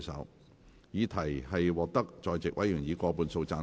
我認為議題獲得在席委員以過半數贊成。